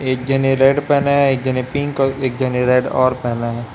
एक जने रेड पेहना है एक जने पिंक और एक जने रेड और पेहना हैं।